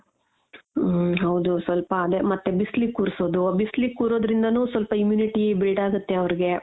ಹಮ್ ಹೌದು so ಬಿಸಿಲಿಗೆ ಕೂರ್ಸೋದು ಬಿಸಿಲಿಗೆ ಕೂರೋದ್ರಿಂದನೂ ಸ್ವಲ್ಪ immunity build ಆಗುತ್ತೆ ಅವ್ರ್ಗ.